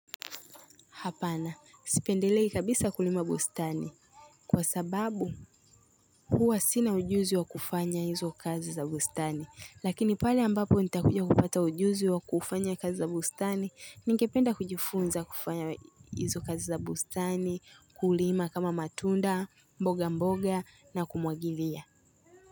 Hapana, sipendelei kabisa kulima bustani, kwa sababu huwa sina ujuzi wa kufanya izo kazi za bustani, lakini pale ambapo nitakuja kupata ujuzi wa kufanya kazi za bustani, ningependa kujifunza kufanya izo kazi za bustani, kulima kama matunda, mboga mboga na kumwagilia.